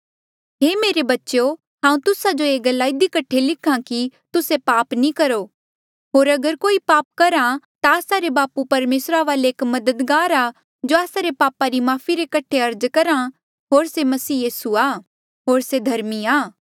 हे मेरे बच्चेयो हांऊँ तुस्सा जो ऐें गल्ला इधी कठे लिख्हा कि तुस्से पाप नी करो होर अगर कोई पाप करहा ता आस्सा रे बापू परमेसरा वाले एक मददगार आ जो आस्सा रे पापा री माफ़ी रे कठे अर्ज करहा होर से यीसू मसीह आ होर से धर्मी आ